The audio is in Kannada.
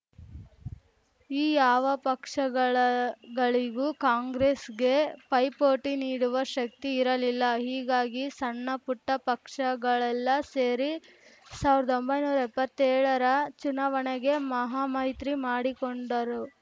ಈ ಯಾವ ಪಕ್ಷಗಳ ಗಳಿಗೂ ಕಾಂಗ್ರೆಸ್‌ಗೆ ಪೈಪೋಟಿ ನೀಡುವ ಶಕ್ತಿ ಇರಲಿಲ್ಲ ಹೀಗಾಗಿ ಸಣ್ಣಪುಟ್ಟಪಕ್ಷಗಳೆಲ್ಲ ಸೇರಿ ಸಾವಿರದ್ ಒಂಬೈನೂರ ಎಪ್ಪತ್ತೇಳರ ಚುನಾವಣೆಗೆ ಮಹಾಮೈತ್ರಿ ಮಾಡಿಕೊಂಡರು